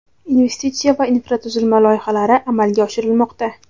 investitsiya va infratuzilma loyihalari amalga oshirilmoqda.